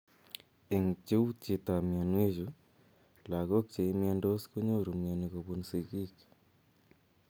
Eng pcheutyet ap mianwe chu, lagok che imiandos konyoru miani kopun sigiik